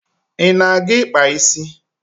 Ị na-aga ịkpa isi?